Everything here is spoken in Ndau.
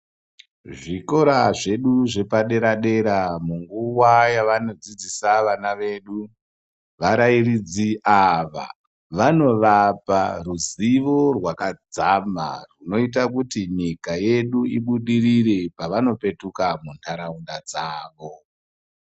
Zvikora zvedu zvepadera-dera munguwa yavanodzidzisa vana vedu, varairidzi ava vanovapa ruzivo rwakadzama rwunoita kuti nyika yedu ibudirire pavanopetuka munharaunda dzavo.